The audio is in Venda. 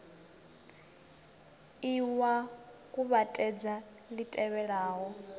ie wa kuvhatedza li tevhelaho